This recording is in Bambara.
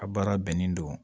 A baara bɛnnen don